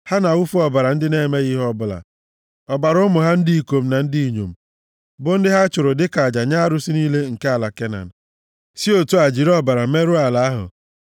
Ha na-awụfu ọbara ndị na-emeghị ihe ọbụla, ọbara ụmụ ha ndị ikom na ndị inyom, bụ ndị ha chụrụ dịka aja nye arụsị niile nke ala Kenan, si otu a jiri ọbara ha merụọ ala ahụ.